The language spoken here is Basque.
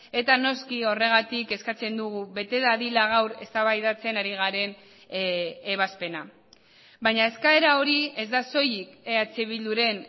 eta noski horregatik eskatzen dugu bete dadila gaur eztabaidatzen ari garen ebazpena baina eskaera hori ez da soilik eh bilduren